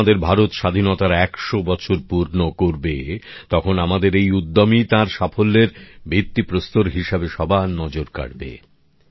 যখন আমাদের ভারত স্বাধীনতার ১০০ বছর পূর্ণ করবে তখন আমাদের এই উদ্যমই তার সাফল্যের ভিত্তিপ্রস্তর হিসেবে সবার নজর কাড়বে